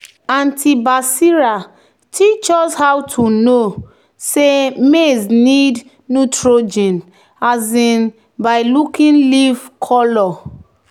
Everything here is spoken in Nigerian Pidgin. "auntie basira teach us how to know say maize need nitrogen um by looking leaf colour."